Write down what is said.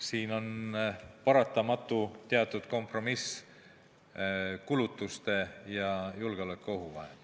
Siin on paratamatu teatud kompromiss kulutuste ja julgeolekuohu vahel.